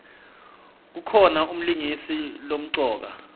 kukhona umlingisi lomcoka